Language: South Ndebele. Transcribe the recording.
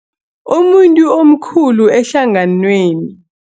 Umuntu omkhulu ehlanganweni.